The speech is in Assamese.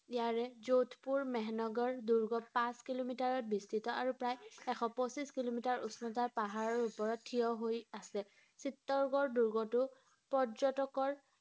ইয়াৰে যোধপুৰ, মেহনগৰ দুৰ্গ পাঁচ কিলোমিটাৰত বিস্তৃত আৰু প্ৰায় এশ পঁচিছ কিলোমিটাৰ উচ্চতাৰ পাহাৰৰ ওপৰত থিয় হৈ আছে ৷ চিত্তোৰগড় দুৰ্গটো পৰ্যটকৰ